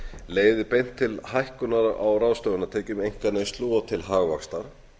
leiðir beint til hækkunar á ráðstöfunartekjum einkaneyslu og til hagvaxtar